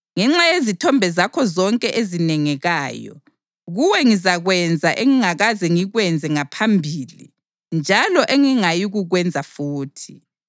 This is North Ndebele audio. Ngenxa yezithombe zakho zonke ezinengekayo, kuwe ngizakwenza engingakaze ngikwenze ngaphambili njalo engingayikukwenza futhi.